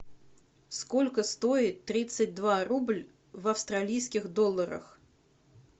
сколько стоит тридцать два рубль в австралийских долларах